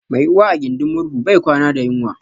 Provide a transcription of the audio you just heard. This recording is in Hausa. Mai Uwa a gidin murhu bai kwana da yunwa